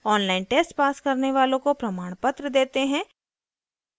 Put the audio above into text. online test pass करने वालों को प्रमाणपत्र देते हैं